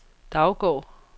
Daugård